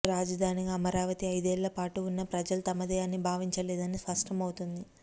రాజధానిగా అమరావతి ఐదేళ్ల పాటు ఉన్నా ప్రజలు తమది అని భావించలేదని స్పష్టమవుతోంది